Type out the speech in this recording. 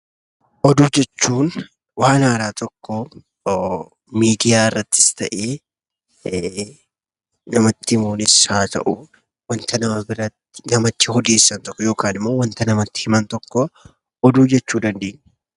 Oduu jechuun waan haaraa tokko miidiyaa irrattis ta'e, namatti himuunis haa ta'uu wanta namatti odeessan tokko yookaan immoo wanta namatti himan tokko 'Oduu' jechuu dandeenya.